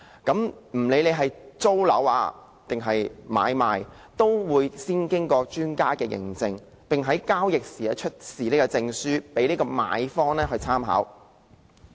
不論是租住或買賣，都會先經過專家認證，並在交易時出示證書給買方或租客參考。